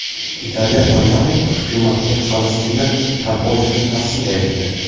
Italiya parlamenti hukumatga Falastinni tan olishni tavsiya etdi.